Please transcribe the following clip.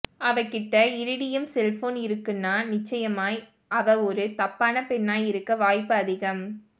அவகிட்டே iridium cellphone இருக்குன்னா நிச்சயமாய் அவ ஒரு தப்பான பெண்ணாய் இருக்க வாய்ப்பு அதிகம்